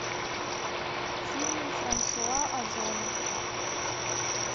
фильмы франсуа озона